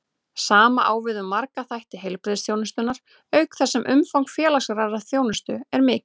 Sama á við um marga þætti heilbrigðisþjónustunnar, auk þess sem umfang félagslegrar þjónustu er mikið.